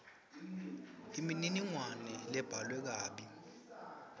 imininingwane lebhalwe kabi